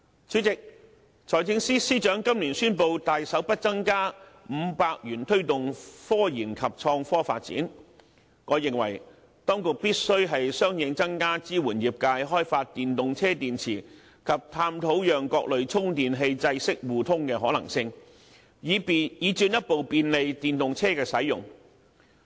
主席，財政司司長今年宣布大手預留額外500億元推動科研及創科發展，我認為當局必須相應增加支援業界開發電動車電池及探討讓各類充電器制式互通的可能性，以進一步便利電動車的使用。